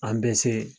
An bɛ se